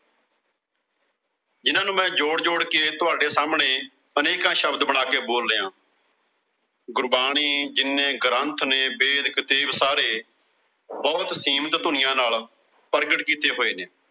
ਜਿਨ੍ਹਾਂ ਨੂੰ ਮੈਂ ਜੋੜ-ਜੋੜ ਕੇ ਤੁਹਾਡੇ ਸਾਹਮਣੇ ਅਨੇਕਾਂ ਸ਼ਬਦ ਬਣਾ ਕੇ ਬੋਲ ਰਿਹਾਂ। ਗੁਰਬਾਣੀ ਜਿੰਨੇ ਗ੍ਰੰਥ ਨੇ ਬੇਦ, ਕਤੇਬ ਸਾਰੇ ਬਹੁਤ ਸੀਮਿਤ ਧੁਨੀਆਂ ਨਾਲ ਪ੍ਰਗਟ ਕੀਤੇ ਹੋਏ ਨੇ।